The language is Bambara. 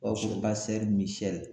O b'a fɔ Misɛli